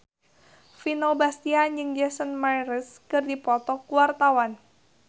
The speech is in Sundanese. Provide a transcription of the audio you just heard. Vino Bastian jeung Jason Mraz keur dipoto ku wartawan